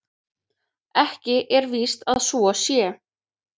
Ekki er víst að svo sé.